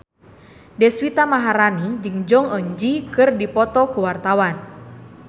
Deswita Maharani jeung Jong Eun Ji keur dipoto ku wartawan